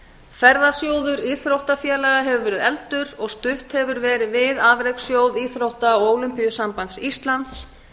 ferðasjóður íþróttafélaga hefur verið efldur og stutt hefur verið við afrekssjóð íþrótta og ólympíusamband íslands